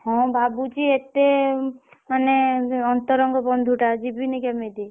ହଁ ଭାବୁଛି ଏତେ ମାନେ ଅନ୍ତରଙ୍ଗ ବନ୍ଧୁଟା ଯିବିନି କେମିତି।